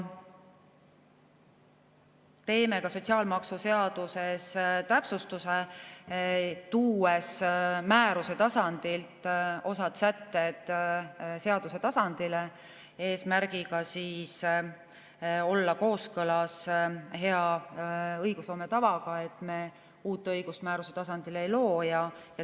Teeme ka sotsiaalmaksuseaduses täpsustuse, tuues osa sätteid määruse tasandilt seaduse tasandile, eesmärgiga olla kooskõlas hea õigusloome tavaga, et me ei looks uut õigust määruse tasandil.